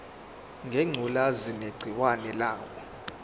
ngengculazi negciwane layo